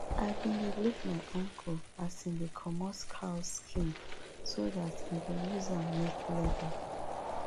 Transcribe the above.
i been dey look my uncle as em dey comot cow skin so dat em go use am make leather